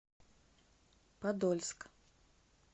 подольск